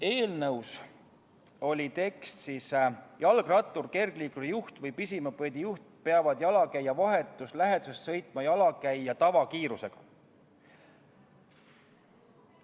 Eelnõus oli tekst: "Jalgrattur, kergliikuri juht ja pisimopeedijuht peavad jalakäija vahetus läheduses sõitma jalakäija tavakiirusega.